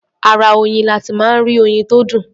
Ara oyin la ti máa ń rí oyin tó dùn.